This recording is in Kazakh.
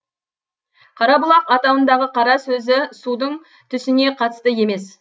қарабұлақ атауындағы қара сөзі судың түсіне қатысты емес